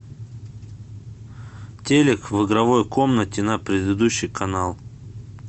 телик в игровой комнате на предыдущий канал